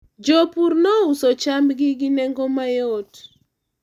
jopur nouso chambgi gi nengo mayot